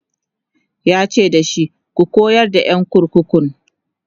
yace dashi"ka koyar da ƴan kurkukun!"